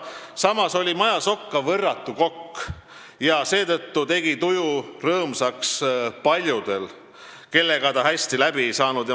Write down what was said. Samas oli Majasokk ka võrratu kokk ja seetõttu tegi tuju rõõmsaks paljudel, kellega ta hästi läbi ei saanud.